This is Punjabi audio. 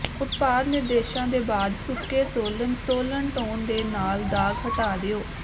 ਉਤਪਾਦ ਨਿਰਦੇਸ਼ਾਂ ਦੇ ਬਾਅਦ ਸੁੱਕੇ ਸੋਲਨ ਸੋਲਨ ਟੌਨ ਦੇ ਨਾਲ ਦਾਗ਼ ਹਟਾ ਦਿਓ